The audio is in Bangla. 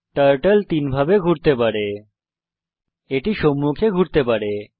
টার্টল তিন ভাবে ঘুরতে পারে এটি সম্মুখে ঘুরতে পারে